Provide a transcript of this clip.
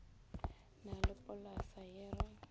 na le polasa ye re